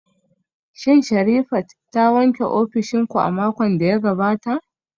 Shin Sherifat ta wanke ofishin ku a makon da ya gabata?